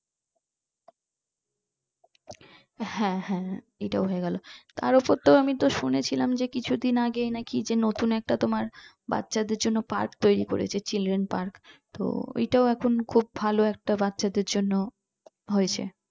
হ্যাঁ হ্যাঁ এটাও হয়ে গেল তার উপর তো আমি তো শুনেছিলাম কিছুদিন আগে যে নাকি নতুন একটা তোমার বাচ্চাদের জন্য park তৈরি করেছে children park তো ওটা এখন খুব ভালো একটা বাচ্চাদের জন্য হয়েছে